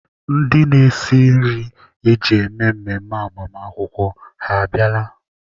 Ndị na-esi nri eji eme mmemme agbamakwụkwọ ha abịala?